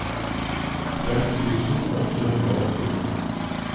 fem tusen åtte hundre og åttini